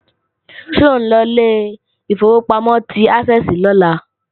Ṣé ò ńlọ ilé ìfowópamọ́ ti Ásẹ́ẹ̀sì lọ́la